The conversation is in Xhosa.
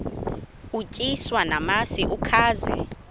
utyiswa namasi ukaze